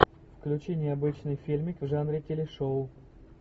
включи необычный фильмик в жанре телешоу